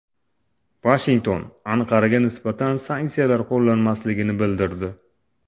Vashington Anqaraga nisbatan sanksiyalar qo‘llanmasligini bildirdi.